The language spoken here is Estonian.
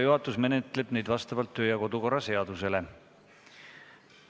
Juhatus menetleb neid vastavalt kodu- ja töökorra seadusele.